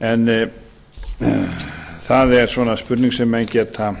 en það er spurning sem menn geta